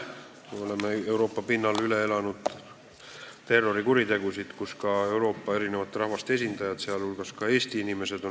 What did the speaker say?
Me oleme Euroopa pinnal üle elanud terrorikuritegusid, mille ohvriks on langenud Euroopa eri rahvaste esindajad, sh ka Eesti inimesed.